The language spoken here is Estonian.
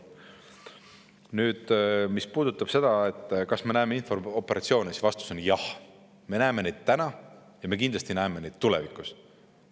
Mis puudutab seda, kas me näeme infooperatsioone, siis vastus on: jah, me näeme neid täna ja me kindlasti näeme tulevikus.